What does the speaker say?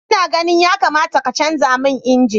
Ina ganin yakamata ka canza man inji.